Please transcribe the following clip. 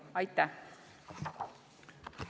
Aitäh!